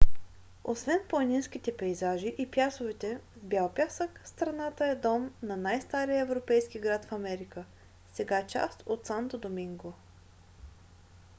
освен планинските пейзажи и плажовете с бял пясък страната е дом на най-стария европейски град в америка сега част от санто доминго